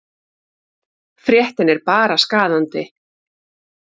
Fréttin er bara skaðandi.